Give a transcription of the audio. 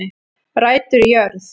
Rætur í jörð